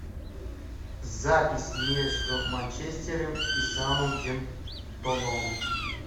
запись между манчестером и саутгемптоном